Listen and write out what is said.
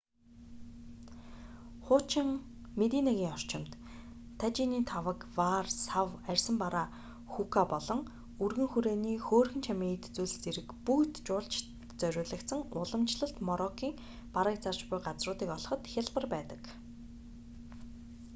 хуучин мединагийн орчимд тажины таваг ваар сав арьсан бараа хүүка болон өргөн хүрээний хөөрхөн чамин эд зүйл зэрэг бүгд жуулчдад зориулагдсан уламжлалт мороккын барааг зарж буй газруудыг олоход хялбар байдаг